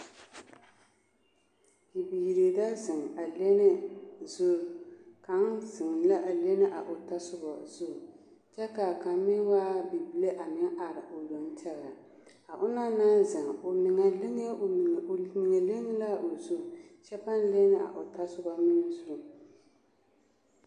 Bibiiri la zeŋ a lenne zuri kaŋa zeŋɛɛ la a lenne a o tasoba zu kyɛ ka kaŋ meŋ are a meŋ waa bibile o yoŋ tɛɡɛ o onaŋ na zeŋ o meŋɛ leŋ la a o zu kyɛ paŋ lenne a o tasoba meŋ zu.